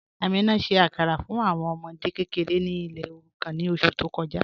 Amina ṣẹ̀ àkàrà fún awọn ọmọdè kẹkẹ̀rẹ̀ ní ilẹ̀ òrùkàn ní oṣù tó kọja